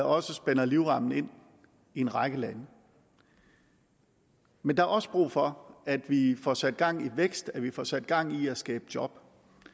også spænder livremmen ind i en række lande men der er også brug for at vi får sat gang i vækst at vi får sat gang i at skabe job